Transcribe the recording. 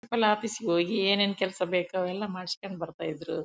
ಅಲ್ ಆಫೀಸಿಗೆ ಹೋಗಿ ಏನೇನ್ ಕೆಲಸ ಬೇಕು ಎಲ್ಲಾ ಮಾಡ್ಸ್ಕೊಂಡ್ ಬರ್ತಾ ಇದ್ರು